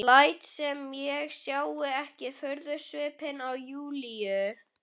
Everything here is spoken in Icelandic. Læt sem ég sjái ekki furðusvipinn á Júlíu.